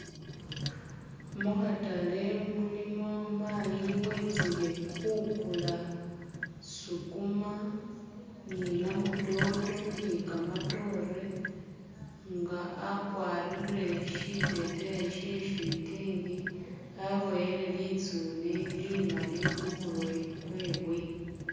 Mukhatale mulimo mayi wetsile khukula sukuma ni namutoto ni kamatore nga akwarire shiteteyi she sitenge, aboyele litsune limali khumurwe kwewe.